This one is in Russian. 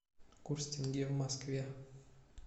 курс тенге в москве